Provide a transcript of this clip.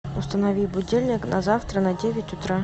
установи будильник на завтра на девять утра